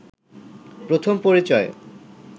প্রথম পরিচয়ে